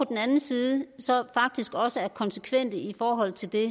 den anden side så faktisk også er konsekvente i forhold til det